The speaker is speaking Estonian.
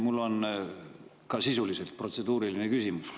Mul on ka sisuliselt protseduuriline küsimus.